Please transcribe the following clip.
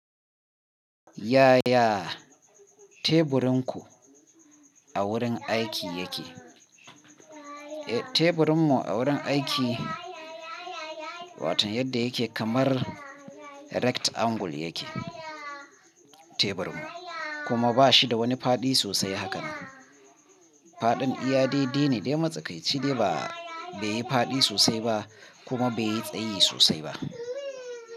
Yaya teburin ku a wurin aiki yake? Eh, teburin mu a wurin aiki, watan yadda yake kamar rectangle yake teburin mu. Kuma ba shi da wani faɗi sosai hakanan. Faɗin iyade dei ne dai matsakaici de ba beyi faɗi sosai ba kuma beyi tsayi sosai ba.